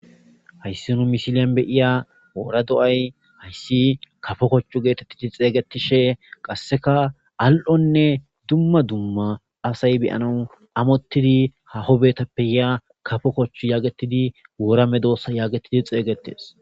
hayssi nu misilyan be7iya woora do7ay hayssi kafo kochchu geetettidi xeeygetishe qasseka al7onne dumma dumma asay be7anawu amottidi haaho betappe yaa kafo kochchu yaagetidi woora medoosa yaagetidi xeeygetes.